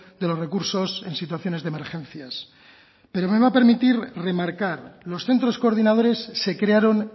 de los recursos en situaciones de emergencias pero me va a permitir remarcar los centros coordinadores se crearon